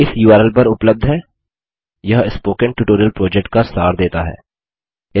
video इस URL पर उपलब्ध है यह स्पोकन ट्यूटोरियल प्रोजेक्ट का सार देता है